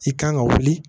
I kan ka wuli